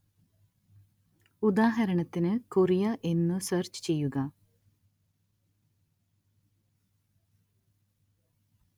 ഉദാഹരണത്തിന് കൊറിയ എന്നു സെര്‍ച്ച് ചെയ്യുക